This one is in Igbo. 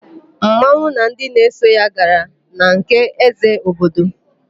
Mmanwụ na ndị na-eso ya gara na nke ézē obodo.